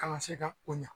Kana se ka o ɲa